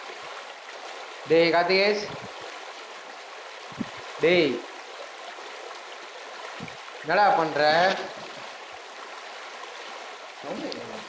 டேய் கார்த்தி டேய் என்னடா பண்ற sound டே கேக்கமாட்டுது